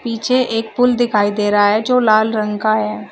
पीछे एक पुल दिखाई दे रहा है जो लाल रंग का है।